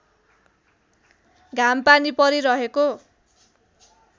घाम पानी परिरहेको